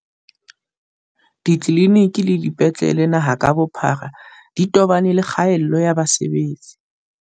Ditleliniki le dipetlele naha ka bophara di tobane le kgaello ya basebetsi.